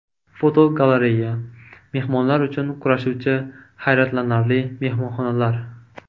Fotogalereya: Mehmonlar uchun kurashuvchi hayratlanarli mehmonxonalar.